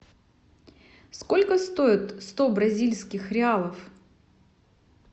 сколько стоит сто бразильских реалов